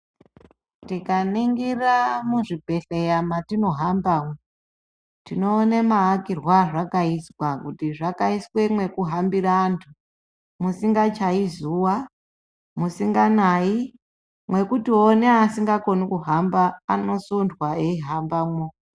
Tikaningira muzvibhedhlera matinohamba tinoona maakirwe azvakaizwa kuti zvakaiswa mwekuhamhira antu musingachayi zuwa musinganayi mwekutiwo neasingakoni kuhamba anosundwa eihambamwo.